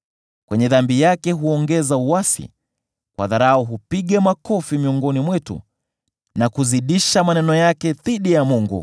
Kwenye dhambi yake huongeza uasi; kwa dharau hupiga makofi miongoni mwetu, na kuzidisha maneno yake dhidi ya Mungu.”